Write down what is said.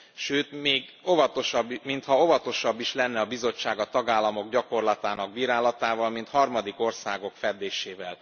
Sőt, még mintha óvatosabb is lenne a Bizottság a tagállamok gyakorlatának bírálatával, mint harmadik országok feddésével.